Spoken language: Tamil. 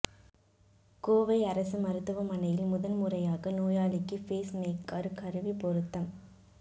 கோவை அரசு மருத்துவமனையில் முதன் முறையாக நோயாளிக்கு பேஸ் மேக்கா் கருவி பொருத்தம்